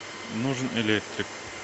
нужен электрик